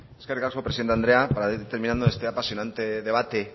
eskerrik asko presidente andrea para ir terminando este apasionante debate